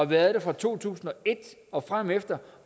været det fra to tusind og et og fremefter